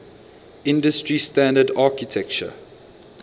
industry standard architecture